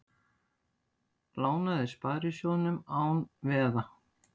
Lánaði sparisjóðum án veða